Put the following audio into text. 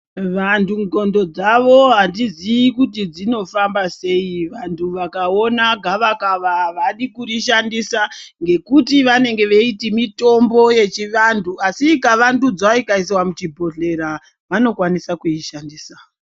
Vantu ndxondo dzawo adzizii kuti dzinofamba sei vakaona gava kava avadi kuri shandusa nekuti vanenge vechiti mitombo yechivanhu asi ikawandudzwa ikaiswa muchibhodhlera vanokwanisa kuishandisa.